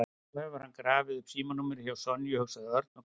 Nú hefur hann grafið upp símanúmerið hjá Sonju, hugsaði Örn og glotti.